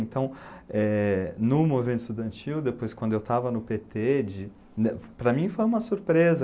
Então, eh, no movimento estudantil, depois quando eu estava no pê tê, de para mim foi uma surpresa.